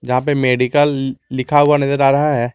जहां पे मेडिकल लिखा हुआ नजर आ रहा है।